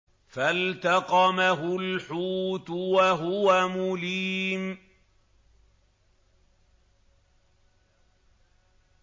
فَالْتَقَمَهُ الْحُوتُ وَهُوَ مُلِيمٌ